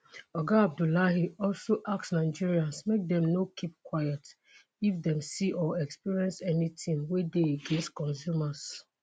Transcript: oga abdullahi also ask nigerians make dem no keep quiet if dem see or experience anytin wey dey against consumers.